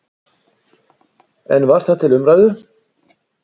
En var það til umræðu?